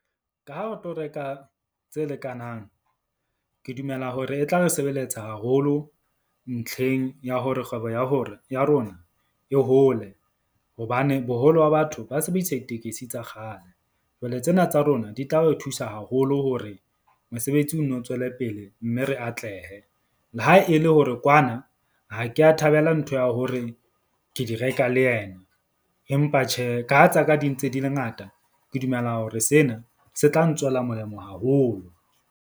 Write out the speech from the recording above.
Ka ha o tlo reka tse lekanang. Ke dumela hore e tla re sebeletsa haholo ntlheng ya hore kgwebo ya hore ya rona e hole hobane boholo ba batho ba sebedisa ditekesi tsa kgale. Jwale tsena tsa rona di tla re thusa haholo hore mosebetsi o nno tswele pele. Mme re atlehe le ha e le hore kwana ha ke ya thabela ntho ya hore ke di reka le yena. Empa tjhe, ka ha tsa ka, di ntse di le ngata, ke dumela hore sena se tla ntswela molemo haholo.